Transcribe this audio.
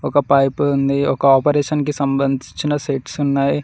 ఒక పైపు ఉంది ఒక ఆపరేషన్ కి సంబంధించిన సెట్స్ ఉన్నాయ్.